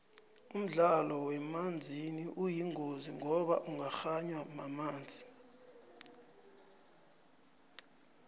umdlalo wangemanzini uyingozi ngoba ungakganywa mamanzi